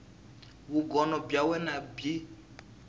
vugono bya wena i bya